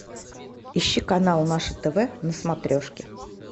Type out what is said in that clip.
ищи канал наше тв на смотрешке